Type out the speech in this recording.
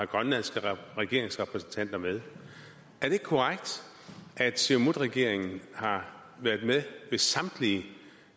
grønlandske regeringsrepræsentanter med er det ikke korrekt at siumutregeringen har været med ved samtlige